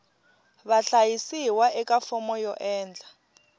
vahlayisiwa eka fomo yo endla